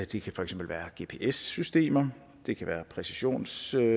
det kan for eksempel være gps systemer det kan være præcisionstildeling